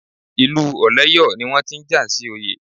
Ìlú Ọ̀lẹ́yọ̀ ni wọ́n ti ń jà sí oyè.